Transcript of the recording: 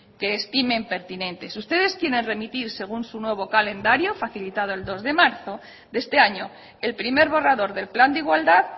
que estimen pertinentes si ustedes quieren remitir según su nuevo calendario facilitado el dos de marzo de este año el primer borrador del plan de igualdad